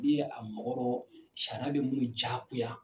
N'i ye a mɔgɔ, sariya bɛ minnu diyagoya